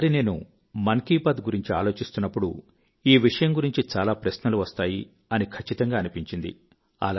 ఈ సారి నేను మన్ కీ బాత్ గురించి ఆలోచిస్తున్నప్పుడు ఈ విషయం గురించి చాలా ప్రశ్నలు వస్తాయి అని ఖచ్చితంగా అనిపించింది